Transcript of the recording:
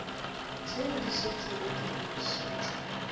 tše di šetšego di lokišitšwe